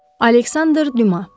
Aleksandr Düma.